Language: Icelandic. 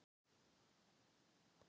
Mummi, hvað er opið lengi í Kjötborg?